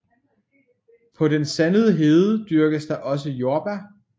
På den sandede hede dyrkes der også jordbær